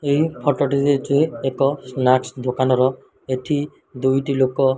ଏହି ଫୋଟୋ ଟି ରେ ଏଥିରେ ଏକ ସ୍ନାକ'ସ ଦୋକାନର ଏଠି ଦୁଇଟି ଲୋକ --